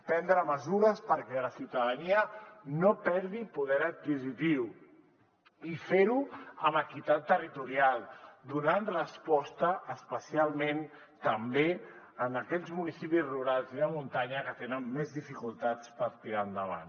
prendre mesures perquè la ciutadania no perdi poder adquisitiu i ferho amb equitat territorial donant resposta especialment també a aquells municipis rurals i de muntanya que tenen més dificultats per tirar endavant